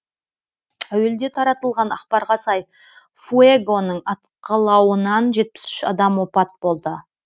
әуелде таратылған ақпарға сай фуэгоның атқылауынан жетпіс үш адам опат болды